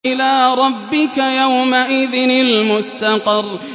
إِلَىٰ رَبِّكَ يَوْمَئِذٍ الْمُسْتَقَرُّ